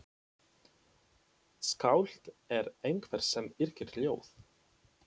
Skáld er einhver sem yrkir ljóð.